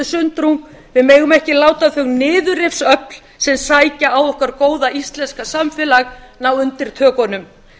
sundrung við megum ekki láta þau niðurrifsöfl sem sækja á okkar góða íslenska samfélag ná undirtökunum